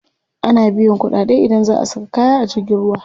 Ana biyan kuɗaɗe idan za a saka kaya a jirgin ruwa.